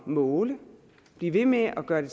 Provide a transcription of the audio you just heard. at måle blive ved med at gøre det